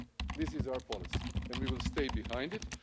This is our policy and we will stay behind it.